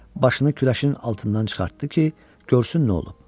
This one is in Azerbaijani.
Başını küləşin altından çıxartdı ki, görsün nə olub.